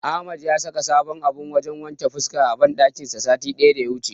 Ahmad ya saka sabon abun wajen wanke fuska a banɗakin sa satin daya wuce.